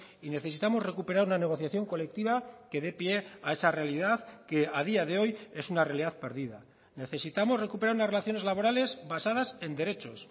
y necesitamos recuperar una negociación colectiva que dé pie a esa realidad que a día de hoy es una realidad perdida necesitamos recuperar unas relaciones laborales basadas en derechos